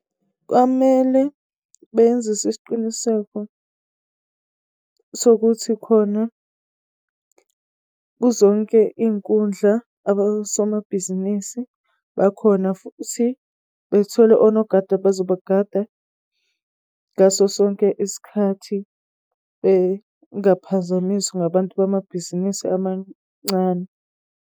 Kwamele benzise isiqiniseko sokuthi khona kuzonke iy'nkundla abosomabhizinisi bakhona, futhi bethole onogada abazobakada ngaso sonke isikhathi, bengaphazamiswa ngabantu bamabhizinisi amancane.